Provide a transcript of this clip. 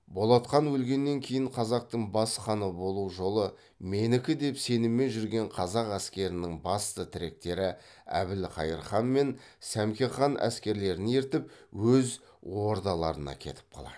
болат хан өлгеннен кейін қазақтың бас ханы болу жолы менікі деп сеніммен жүрген қазақ әскерінің басты тіректері әбілқайыр хан мен сәмеке хан әскерлерін ертіп өз ордаларына кетіп қалады